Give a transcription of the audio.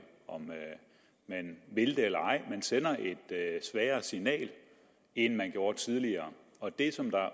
om man vil det eller ej er jo at man sender et svagere signal end man gjorde tidligere og det som